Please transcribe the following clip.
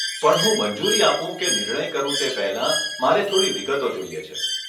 પણ હું મંજૂરી આપું કે નિર્ણય કરું તે પહેલાં, મારે થોડી વિગતો જોઈએ છે.